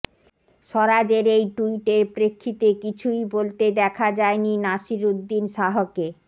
স্বরাজের এই ট্যুইটের প্রেক্ষিতে কিছুই বলতে দেখা যায়নি নাসিরুদ্দিন শাহকে